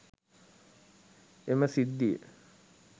එම සිද්ධිය